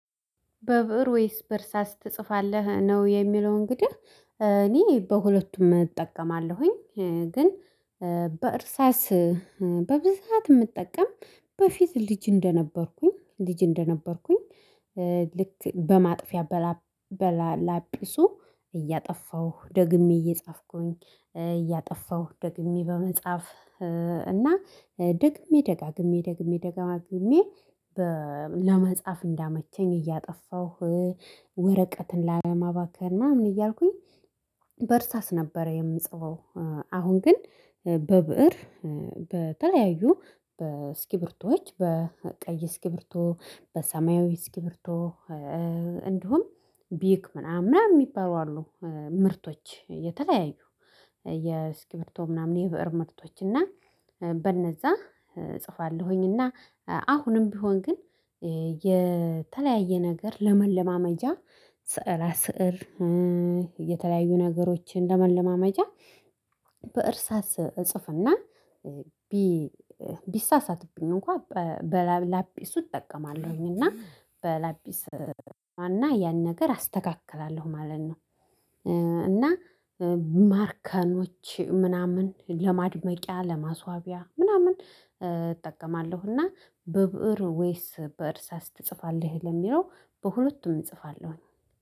በብእር ወይስ በእርሳስ ትጽፋለህ ነው የሚለው እንግዲህ እኔ በሁለቱም እጠቀማለሁኝ ግን በእርሳስ በብዛት የምጠቀም በፊት ልጅ እንደነበርኩኝ ልጅ እንደነበርኩኝ ልክ በማጥፊያ በላጲሱ ደግሜ እየጻፍኩኝ እያጠፋሁ ደግሜ በመጻፍ እና ደግሜ ደጋግሜ ደግሜ ደጋግሜ ለመጻፍ እንዲያመቸኝ እያጠፋሁ ወረቀትን ላለማባከን ምን እያልኩኝ በእርሳስ ነበር የምጽፈው። አሁን ግን በብእር በተለያዩ በስኪብርቶዎች በቀይ እስኪብርቶ በሰማያዊ እስኪብርቶ እንዲሁም ቢክ ምናምን ምናምን የሚባሉ አሉ ምርቶች የተለያዩ የእስኪብርቶ ምናምን የብእር ምርቶች እና በነዛ እጽፋለሁኝ እና አሁንም ቢሆን ግን የተለያየ ነገር ለመለማመጃ ስዕላ ስዕር የተለያዩ ነገሮችን ለመለማመጃ በእርሳስ እጽፍና ቢሳሳትብኝ እንኳን በላጲሱ እጠቀማለሁኝ እና በላፒስ እና ያን ነገር አስተካክላለሁ ማለት ነው። ማርከሮች ምናምን ለማድመቂያ ለማስዋቢያ ምናምን እጠቀማለሁ። እና በብእር ወይስ በእርሳስ ትጽፋለህ? ለሚለው በሁለቱም እጽፋለሁኝ